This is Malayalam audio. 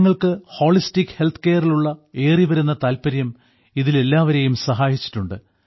ജനങ്ങൾക്ക് ഹോളിസ്റ്റിക് ഹെൽത്ത് കെയറിലുള്ള ഏറിവരുന്ന താല്പര്യം ഇതിൽ എല്ലാവരെയും സഹായിച്ചിട്ടുണ്ട്